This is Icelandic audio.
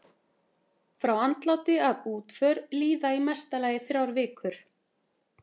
Frá andláti að útför líða í mesta lagi þrjár vikur.